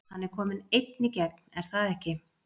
Hann er kominn einn í gegn er það ekki?